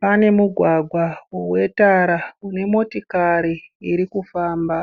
Pane mugwagwa wetara unemotikari irikufamba.